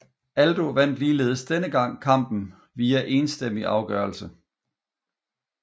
Aldo vandt ligeledes denne gang kampen via enstemmig afgørelse